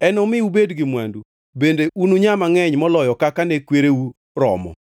Enomi ubed gi mwandu bende ununyaa mangʼeny maloyo kaka ne kwereu romo.